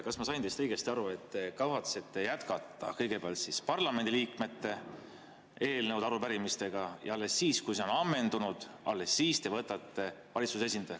Kas ma sain teist õigesti aru, et te kavatsete jätkata kõigepealt parlamendiliikmete eelnõude ja arupärimistega ja alles siis, kui need on ammendunud, te võtate valitsuse esindaja?